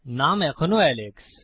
নাম এখনও এলেক্স